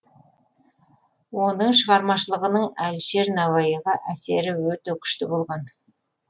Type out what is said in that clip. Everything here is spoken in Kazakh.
оның шығармашылығының әлішер науаиға әсері өте күшті болған